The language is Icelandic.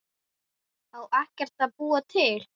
Á ekkert að búa til?